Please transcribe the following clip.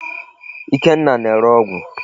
Ikenna na-ere ọgụ.